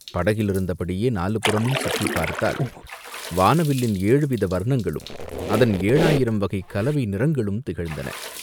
படகிலிருந்தபடியே நாலுபுறமும் சுற்றிப் பார்த்தால், வானவில்லின் ஏழுவித வர்ணங்களும் அதன் ஏழாயிரம் வகைக் கலவை நிறங்களும் திகழ்ந்தன.